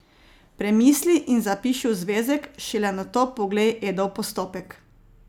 Premisli in zapiši v zvezek, šele nato poglej Edov postopek.